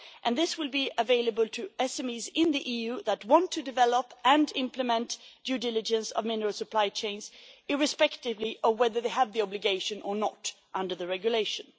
This will be available to SMEs in the EU that want to develop and implement due diligence of mineral supply chains, irrespective of whether they have the obligation or not under the regulation.